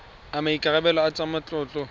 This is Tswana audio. a maikarebelo a tsa matlotlo